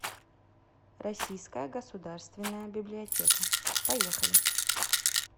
российская государственная библиотека поехали